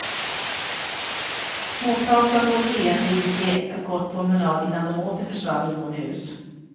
Småpratande och leende gick de en kort promenad innan de åter försvann inomhus.